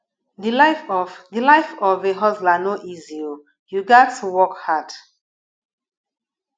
di life of di life of a hustler no easy o you gats work hard